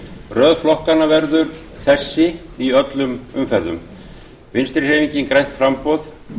röð flokkanna verður þessi í öllum umferðum vinstri hreyfingin grænt framboð